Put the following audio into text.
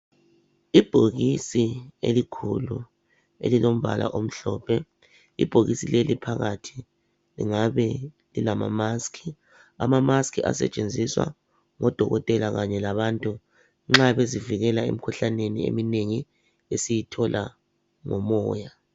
Ibhokisi elikhulu elilombala omhlophe ibhokisi leli phakathi lingabe lilama musk. Amamusk asetshenziswa ngodokotela kanye labantu nxa bezisivikela emikhuhlaneni eminengi esiyithola lomoya.